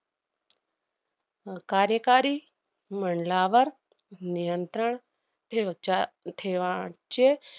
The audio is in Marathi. अह कार्यकारी मंडलावर नियंत्रण ठेवच्या~ ठेवाचे